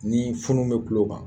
Ni funu be tulo kan